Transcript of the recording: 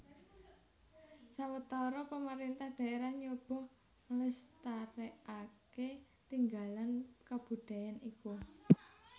Sawetara pamarintah daerah nyoba nglestarèkaké tinggalan kabudayan iku